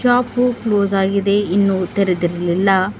Shop close ಆಗಿದೆ ಇನ್ನೂ ತೆರದಿರಲ್ಲಿಲ್ಲ.